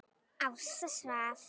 Ásta svaf.